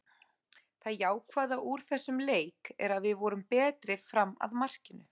Það jákvæða úr þessum leik er að við vorum betri fram að markinu.